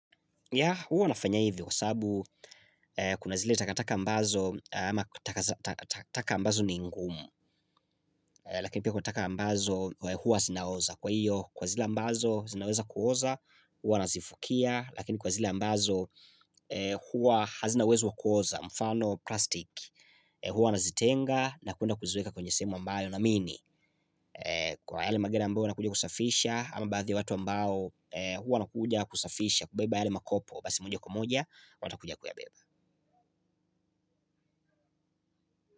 Yaa huwa nafanya hivyo, kwa sababu kuna zile takataka ambazo ama takataka ambazo ni ngumu lakini pia kuna takataka ambazo huwa zinaoza kwa hiyo kwa zile ambazo zinaweza kuoza huwa nazifukia lakini kwa zile ambazo huwa hazina uwezo wa kuoza, mfano plastik huwa nazitenga na kuenda kuzieka kwenye sehemu ambayo naamini kwa yale magena ambao wanakuja kusafisha ama baadhi ya watu ambao huwa wanakuja kusafisha kubeba yale makopo basi moja kwa moja wanakuja kuyabeba.